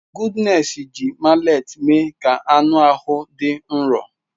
Goodness ji mallet mee ka anụ ahụ dị nro.